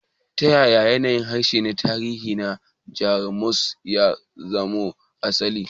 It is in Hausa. Ta yaya yanayin harshe na tarihi na Jamus ya samo asali?